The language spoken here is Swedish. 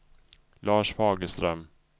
Lars Fagerström